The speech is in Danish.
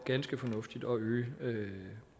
ganske fornuftigt at øge